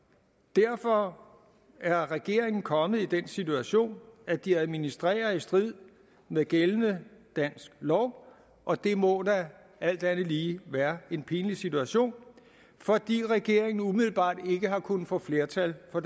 derfor er regeringen kommet i den situation at de administrerer i strid med gældende dansk lov og det må da alt andet lige være en pinlig situation fordi regeringen umiddelbart ikke har kunnet få flertal for